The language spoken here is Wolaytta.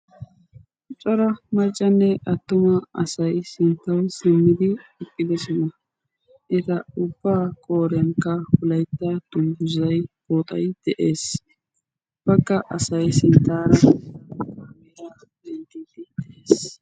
cora maccannee attuma asai sinttawu simmidi iqqidosona eta ubbaa kooriyankka hulaitta tulluzai ooxai de'ees bakka asay sinttaara meira minttetiis